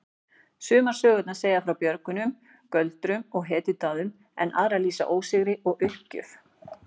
Sumar sögurnar segja frá björgun, göldrum og hetjudáðum en aðrar lýsa ósigri og uppgjöf.